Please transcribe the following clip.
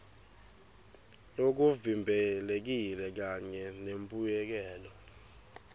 lokuvimbelekile kanye nembuyekelo